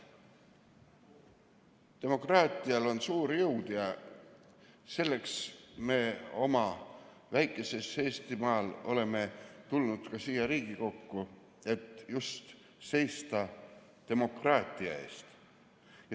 Demokraatial on suur jõud ja selleks me oma väikesel Eestimaal olemegi tulnud siia Riigikokku, et seista just demokraatia eest.